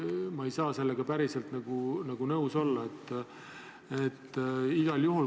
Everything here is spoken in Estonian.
Ma ei saa sellega päriselt nõus olla.